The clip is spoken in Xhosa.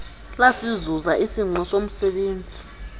lasizuza isingqi somzebenzi